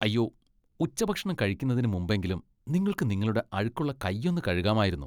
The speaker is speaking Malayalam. അയ്യോ! ഉച്ചഭക്ഷണം കഴിക്കുന്നതിന് മുമ്പെങ്കിലും നിങ്ങൾക്ക് നിങ്ങളുടെ അഴുക്കുള്ള കൈയൊന്നു കഴുകാമായിരുന്നു.